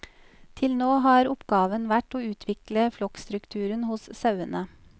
Til nå har oppgaven vært å utvikle flokkstrukturen hos sauene.